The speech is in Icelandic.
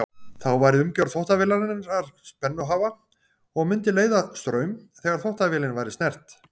Þá væri umgjörð þvottavélarinnar spennuhafa og mundi leiða straum þegar þvottavélin væri snert.